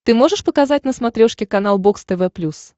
ты можешь показать на смотрешке канал бокс тв плюс